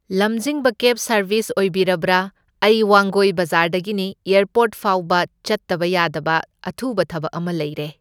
ꯂꯝꯖꯤꯡꯕ cab service ꯑꯣꯏꯕꯤꯔꯕ꯭ꯔꯥ? ꯑꯩ ꯋꯥꯡꯒꯣꯏ ꯕꯖꯥꯔꯗꯒꯤꯅꯤ, ꯑꯦꯔꯄꯣꯔꯠ ꯐꯥꯎꯕ ꯆꯠꯇꯕ ꯌꯥꯗꯕ ꯑꯊꯨꯕ ꯊꯕꯛ ꯑꯃ ꯂꯩꯔꯦ꯫